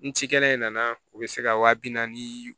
N ci kɛnɛ in nana o bɛ se ka wa bi naani